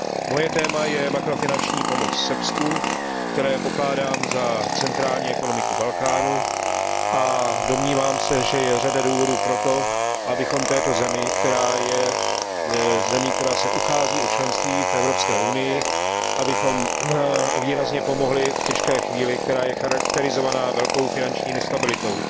Moje téma je makrofinanční pomoc Srbsku, které pokládám za centrální ekonomiku Balkánu, a domnívám se, že je řada důvodů pro to, abychom této zemi, která se uchází o členství v Evropské unii, výrazně pomohli v těžké chvíli, která je charakterizovaná velkou finanční nestabilitou.